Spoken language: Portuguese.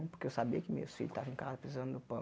Porque eu sabia que meus filhos estavam em casa precisando do pão.